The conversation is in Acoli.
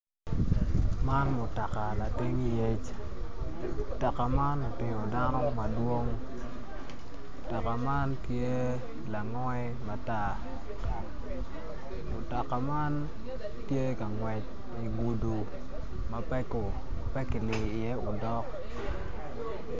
Man mutoka lating yec mutoka man otingo dano madwong mutoka man tye langoi matar mutoka man tye ka ngwec i guduma pe kiliyo iye odok.